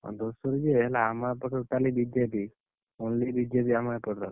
ଏ ଧୂସୁରୀ ଯେ ହେଲେ ଆମ ଏପଟରେ totally BJP only BJP ଆମ ଏପଟର।